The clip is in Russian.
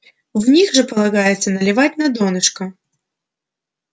в них же полагается наливать на донышко